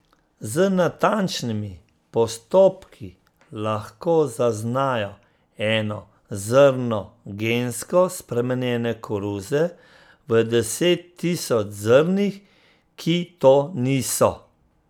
Z natančnimi postopki lahko zaznajo eno zrno gensko spremenjene koruze v deset tisoč zrnih, ki to niso.